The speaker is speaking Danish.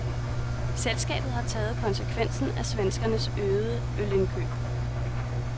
Selskabet har taget konsekvensen af svenskernes øgede ølindkøb.